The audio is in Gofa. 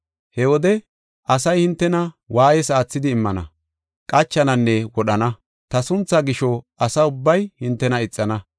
“He wode asay hintena waayees aathidi immana, qachananne wodhana. Ta sunthaa gisho asa ubbay hintena ixana.